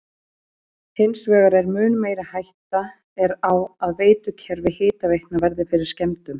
Hins vegar er mun meiri hætta er á að veitukerfi hitaveitna verði fyrir skemmdum.